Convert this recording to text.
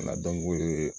o ye